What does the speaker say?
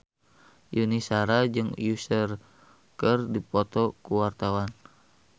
Yuni Shara jeung Usher keur dipoto ku wartawan